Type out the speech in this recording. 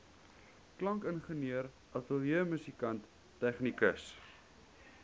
klankingenieur ateljeemusikant tegnikus